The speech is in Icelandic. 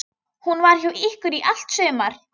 Hún var hjá ykkur í allt sumar.